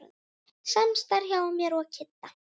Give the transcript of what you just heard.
Samstarf hjá mér og Kidda?